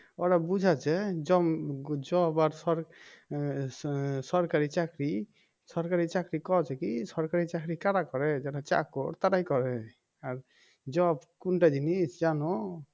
ওরা বুঝাচ্ছে জম job আর সর আহ সরকারি চাকরি সরকারি চাকরি কওছে কি সরকারি চাকরি কারা করে যারা চাকর তারাই করে আর job কোনটা জিনিস জানো